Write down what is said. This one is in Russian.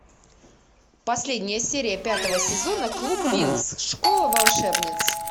последняя серия пятого сезона клуб винкс школа волшебниц